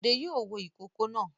Bọ̀dé yóò wo ìkókó náà.